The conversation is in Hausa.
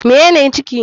Mene ne ciki?